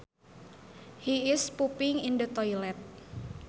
He is pooping in the toilet